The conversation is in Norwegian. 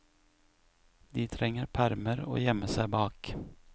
De trenger permer å gjemme seg bak.